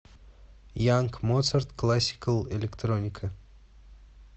янг моцарт классикал электроника